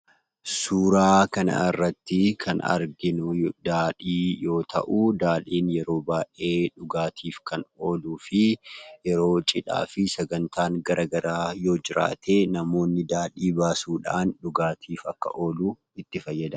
Suuraa kana irratti kan arginu daadhii yoo ta'u, daadhiin yeroo baayyee dhugaatiif kan oolufi yeroo cidhaafii sagantaan garagaraa yoo jiraatee namoonni daadhii baasuudhana dhugaatiif akka ooluu itti fayyadamu.